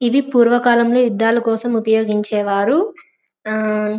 ఇది పూర్వకాలంలో యుద్ధాల కోసం ఉపయోగించేవారు. ఆ--